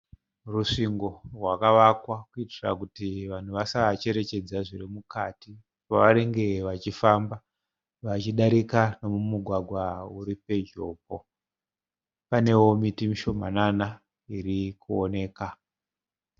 Rusvingo rwakavakwa kuitira kuti vanhu vasacherechedza zvirimukati pavanenge vachifamba vachidarika nemugwagwa uri pedyopo. Paneo miti mishomanana irikuonekwa.